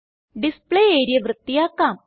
display area വൃത്തിയാക്കാം